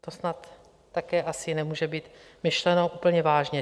To snad také asi nemůže být myšleno úplně vážně.